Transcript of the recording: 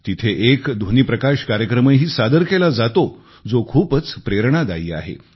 तिथे एक ध्वनीप्रकाश कार्यक्रमही सादर केला जातो जो खूपच प्रेरणादायी आहे